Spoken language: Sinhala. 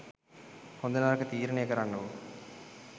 හොඳ නරක තීරණය කරන්නකෝ